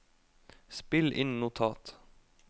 spill inn notat